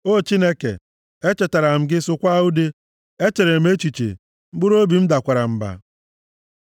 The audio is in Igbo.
O Chineke, echetara m gị, sụkwaa ude; echere m echiche, mkpụrụobi m dakwara mba. Sela